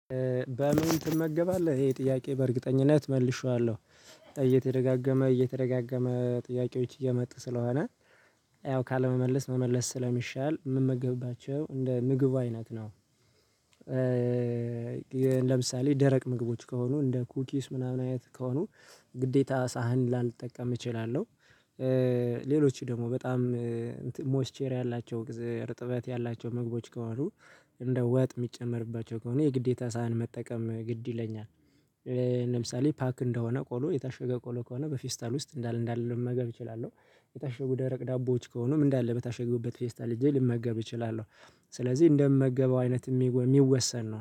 በምን ትመገባለህ ይሄ ጥያቄ በእርግጠኝነት መልሼዋለሁ እየተደጋገመ እየተደጋገመ ጥያቄዎች እየመጡ ስለሆነ ያው ካለመመለስ መመለስ ስለሚሻል የምመገብባቸው እንደ ምግቡ አይነት ነው። ለምሳሌ ደረቅ ምግቦች ከሆኑ እንደ ኩኪስ ምናምን አይነት ከሆኑ ግዴታ ሳህን ላልጠቀም እችላለሁ። ሌሎች ደግሞ በጣም ሞስቸሪ ያላቸው እርጥበት ያላቸው ምግቦች ከዋሉ እንደ ወጥ የሚጨመርባቸው ከሆነ የግዴታ ሳህን መጠቀም ግድ ይለኛል። ለምሳሌ ፓክ እንደሆነ ቆሎ የታሸገ ቆሎ ከሆነ በፊስታል ውስጥ እንዳለ እንዳለ መመገብ እችላለሁ። የታሸጉ ደረቅ ዳቦዎች ከሆኑ ምን እንዳለ በታሸግቡበት ፌስታል ልጄ ልመገብ እችላለሁ። ስለዚህ እንደምመገበው አይነት የሚወሰን ነው